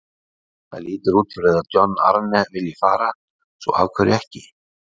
Það lítur út fyrir að John Arne vilji fara, svo af hverju ekki?